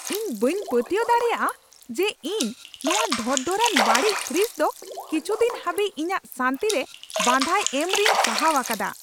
ᱤᱧ ᱵᱟᱹᱧ ᱯᱟᱹᱛᱭᱟᱹᱣ ᱫᱟᱲᱮᱭᱟᱜᱼᱟ ᱡᱮ ᱤᱧ ᱱᱚᱶᱟ ᱰᱷᱚᱨᱚᱰᱷᱚᱨᱚᱼᱟᱱ, ᱵᱟᱹᱲᱤᱡ ᱯᱷᱨᱤᱡᱽ ᱫᱚ ᱠᱤᱪᱷᱩ ᱫᱤᱱ ᱦᱟᱹᱵᱤᱡ ᱤᱧᱟᱹᱜ ᱥᱟᱹᱱᱛᱤ ᱨᱮ ᱵᱟᱫᱷᱟᱭ ᱮᱢ ᱨᱮᱧ ᱥᱟᱦᱟᱣ ᱟᱠᱟᱫᱟ ᱾